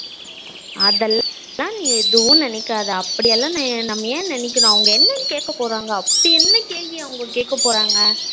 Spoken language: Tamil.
அதேல்லலாம் நீ ஏதுவும் நினைக்காத அப்படி எல்லாம் என் நம்ம என் நினைக்கணும் அவங்க என்ன கேக்கபோறாங்க அப்படி என்ன கேள்வி அவங்க கேக்கபோறாங்க